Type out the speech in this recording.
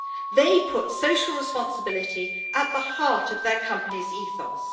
They put social responsibility at the heart of their company's ethos.